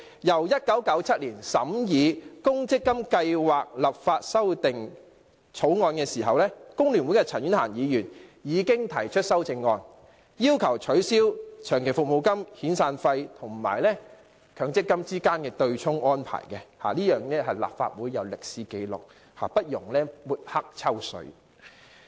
立法會1997年審議《1997年公積金計劃立法條例草案》時，工聯會的陳婉嫻已提出修正案，要求取消長期服務金、遣散費與強積金之間的對沖安排，立法會有這方面的歷史紀錄，不容抹黑、"抽水"。